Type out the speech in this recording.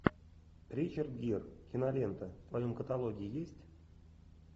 ричард гир кинолента в твоем каталоге есть